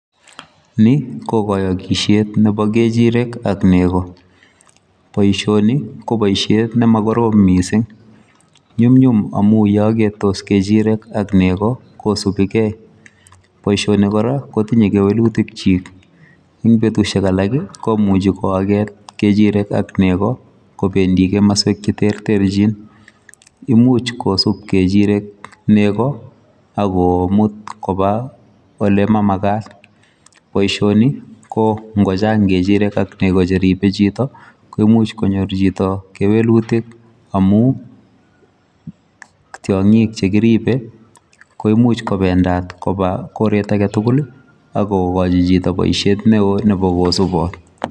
Ni ko kayakisiet nebo kechirek ak nego, boisioni ko boisiet ne ma korom missing, nyumnyum amuun ye agetos negoi kosubiikei boisionik kora kotinyei kewelutiik kyik en betusiek alaak ii komuchei ko aget kechirek ak Koo che terterjin , imuuch kisuup kechirek nego ago muut kobaa ole mamagat , boisioni ko ingo chaang kerchirek ak nego che ripee chitoo koimuuch konyoor chitoo kewelutiik, tiangin che kiribe koimuuch kobendaat kobaa koreet age tugul ii ako kachi chitoo boisiet ne wooh ako subaat.